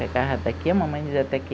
Pegava daqui, a mamãe dizia até aqui.